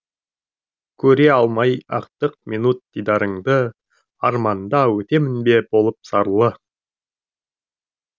көре алмай ақтық минут дидарыңды арманда өтемін бе болып зарлы